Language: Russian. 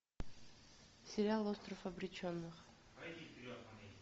сериал остров обреченных